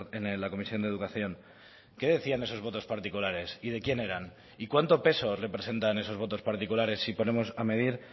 en la comisión de educación qué decían esos votos particulares y de quién eran y cuánto peso representan esos votos particulares si ponemos a medir